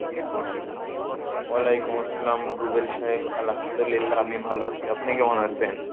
ওয়ালাইকুম আসসালাম, রুবেল সাহেব, আলহামদুলিল্লাহ আমি ভালো আছি, আপনি কেমন আছেন?